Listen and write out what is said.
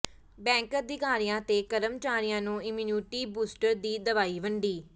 bank ਅਧਿਕਾਰੀਆਂ ਤੇ ਕਰਮਚਾਰੀਆਂ ਨੂੰ ਇਮੀਊਨਿਟੀ ਬੂਸਟਰ ਦੀ ਦਵਾਈ ਵੰਡੀ